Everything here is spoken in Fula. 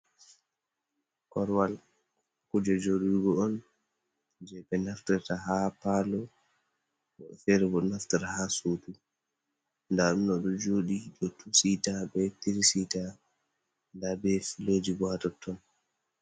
korwal kuje jodurgo on je be naftata ha Palo, wobɓebo ferebo do naftata ha sudu, dadomɗo do jodi ɗon tu sita be tiri sita da ɓe filoji bo hatotton.